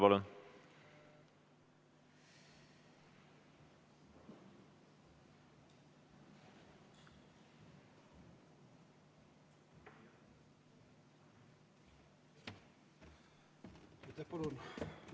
Palun lisaaega!